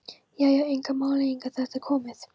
Já já, engar málalengingar, er þetta komið?